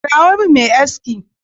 Kirawo min mai aski.